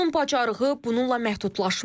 Onun bacarığı bununla məhdudlaşmır.